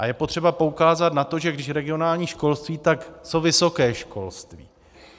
A je potřeba poukázat na to, že když regionální školství, tak co vysoké školství?